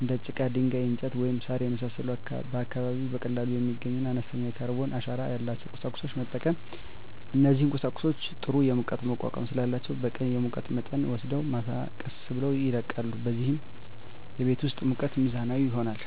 እንደ ጭቃ፣ ድንጋይ፣ እንጨት፣ ወይም ሣር የመሳሰሉ ከአካባቢው በቀላሉ የሚገኙና አነስተኛ የካርበን አሻራ ያላቸውን ቁሳቁሶች መጠቀም። እነዚህ ቁሳቁሶች ጥሩ የሙቀት መቋቋም ስላላቸው በቀን የሙቀት መጠንን ወስደው ማታ ቀስ ብለው ይለቃሉ፣ በዚህም የቤት ውስጥ ሙቀት ሚዛናዊ ይሆናል።